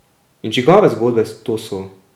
In čigave zgodbe to so?